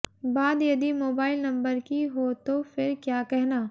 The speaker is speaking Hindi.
बात यदि मोबाइल नंबर की हो तो फिर क्या कहना